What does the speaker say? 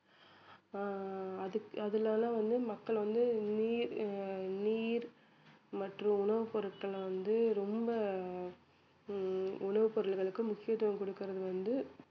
ஆஹ் அதுக்~ அதனால வந்து மக்கள் வந்து நீர் ஆஹ் நீர் மற்ற உணவுப் பொருட்களை வந்து ரொம்ப ஹம் உணவுப் பொருள்களுக்கு முக்கியத்துவம் கொடுக்குறது வந்து